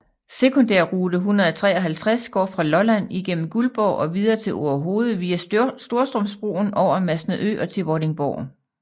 Sekundærrute 153 går fra Lolland igennem Guldborg og videre til Orehoved via Storstrømsbroen over Masnedø og til Vordingborg